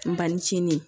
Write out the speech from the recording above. N banni cin